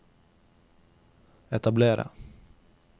etablere